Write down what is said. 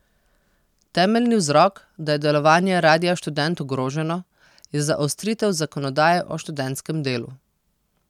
Temeljni vzrok, da je delovanje Radia Študent ogroženo, je zaostritev zakonodaje o študentskem delu.